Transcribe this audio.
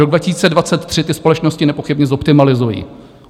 Rok 2023 ty společnosti nepochybně zoptimalizují.